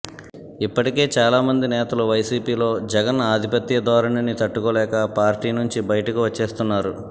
ఇప్పటికే చాలామంది నేతలు వైసీపీలో జగన్ ఆధిపత్యధోరణిని తట్టుకోలేక పార్టీ నుంచి బయటకు వచ్చేస్తున్నారు